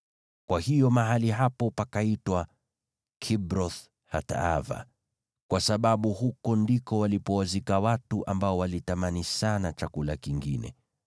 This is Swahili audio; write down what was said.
Kwa hiyo mahali hapo pakaitwa Kibroth-Hataava, kwa sababu huko ndiko walipowazika watu ambao walitamani sana chakula kingine.